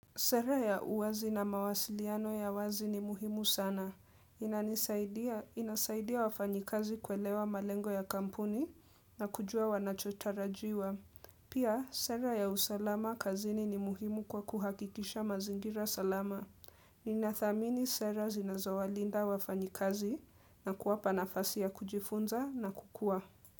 Sera ya uwazi na mawasiliano ya wazi ni muhimu sana. Inanisaidia, inasaidia wafanyikazi kuelewa malengo ya kampuni na kujua wanachotarajiwa. Pia, sera ya usalama kazini ni muhimu kwa kuhakikisha mazingira salama. Ninathamini sera zinazawalinda wafanyikazi na kuwapa nafasi ya kujifunza na kukuwa.